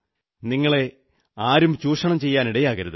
നിങ്ങളെ ആരും ചൂഷണം ചെയ്യാനിടയാകരുത്